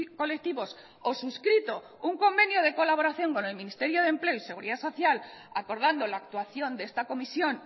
colectivos o suscrito un convenio de colaboración con el ministerio de empleo y seguridad social acordando la actuación de esta comisión